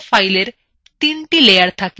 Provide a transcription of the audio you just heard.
প্রতিটি draw file তিনটি layer থাকে